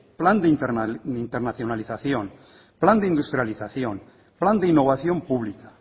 plan de internacionalización plan de industrialización plan de innovación pública